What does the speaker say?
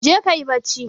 Jeka ka yi bacci.